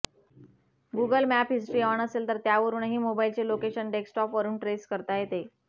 Google map history on असेल तर त्यावरुनही मोबाईल चे लोकेशन डेस्कटॉपवरून ट्रेस करता येते